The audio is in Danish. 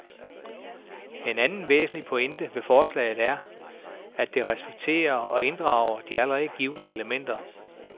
En anden væsentlig pointe ved forslaget er, at det respekterer og inddrager de allerede givne elementer.